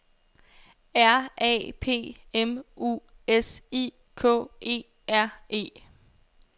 R A P M U S I K E R E